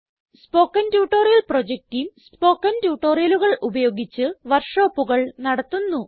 spoken tutorial project team spoken ട്യൂട്ടോറിയലുകൾ ഉപയോഗിച്ച് വർക്ക് ഷോപ്പുകൾ നടത്തുന്നു